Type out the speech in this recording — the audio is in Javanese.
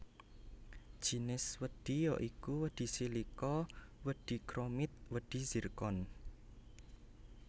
Jinis wedhi ya iku wedhi silika wedhi chromit wedhi zircon